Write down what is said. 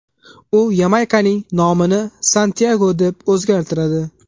U Yamaykaning nomini Santyago deb o‘zgartiradi.